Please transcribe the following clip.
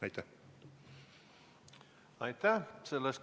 Aitäh!